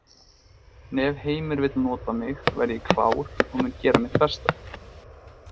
En ef Heimir vill nota mig verð ég klár og mun gera mitt besta.